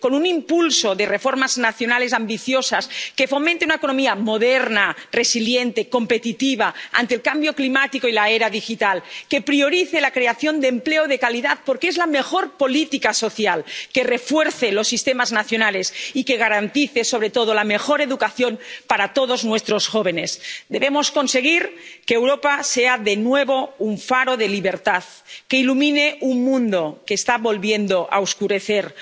Con un impulso de reformas nacionales ambiciosas, que fomente una economía moderna, resiliente, competitiva, ante el cambio climático y la era digital, que priorice la creación de empleo de calidad, porque es la mejor política social, que refuerce los sistemas nacionales y que garantice, sobre todo, la mejor educación para todos nuestros jóvenes. Debemos conseguir que Europa sea de nuevo un faro de libertad que ilumine un mundo que está volviendo a oscurecerse.